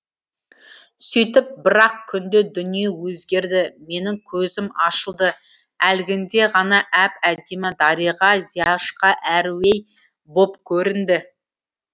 сүйтіп бір ақ күнде дүние өзгерді менің көзім ашылды әлгінде ғана әп әдемі дариға зияшқа әруей боп көрінді